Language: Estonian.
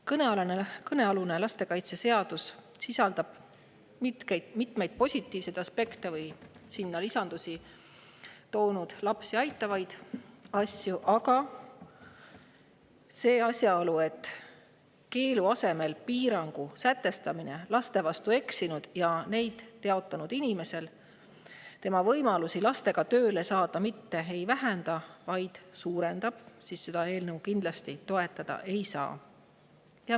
Kõnealune lastekaitseseaduse sisaldab mitmeid positiivseid aspekte asju, mis lapsi aitavad, aga asjaolu tõttu, et keelu asemel piirangu sätestamine mitte ei vähenda, vaid suurendab laste vastu eksinud ja neid teotanud inimese võimalusi lastega tööle saada, me seda eelnõu kindlasti toetada ei saa.